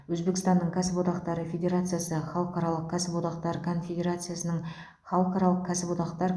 өзбекстанның кәсіподақтары федерациясы халықаралық кәсіподақтар конфедерациясының халықаралық кәсіподақтар